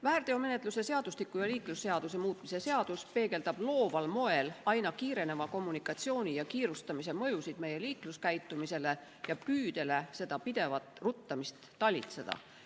Väärteomenetluse seadustiku ja liiklusseaduse muutmise seadus peegeldab looval moel aina kiireneva kommunikatsiooni ja kiirustamise mõjusid meie liikluskäitumisele ja püüdele seda pidevat ruttamist talitseda.